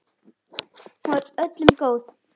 Hún var öllum góð.